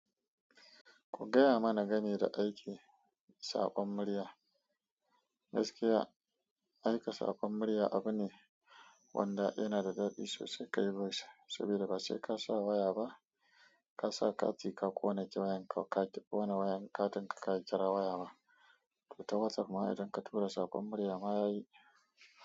Ku gaya mana gami da aike saƙon murya. Gaskiya aika saƙon murya abu ne wanda yana da daɗi sosai kai bas saboda ba sai ka sa waya ba. Ka sa kati ka ƙone kira wayanka ka tafi wani wayanka don ka kira waya ba. Ko ta WhatsApp ma idan ka tura sakon murya ma yayi.